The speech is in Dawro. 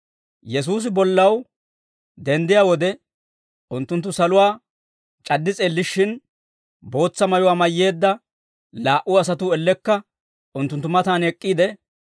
Yesuusi bollaw denddiyaa wode, unttunttu saluwaa c'addi s'eellishshin, bootsa mayuwaa mayyeedda laa"u asatuu ellekka unttunttu matan ek'k'iide,